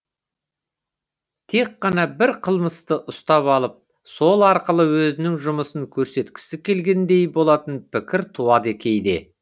тек қана бір қылмысты ұстап алып сол арқылы өзінің жұмысын көрсеткісі келгендей болатын пікір туады кейде